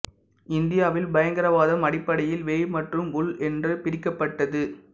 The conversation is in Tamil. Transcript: இந்தியாவில் பயங்கரவாதம் அடிப்படையில் வெளி மற்றும் உள் என்று பிரிக்கப்பட்டது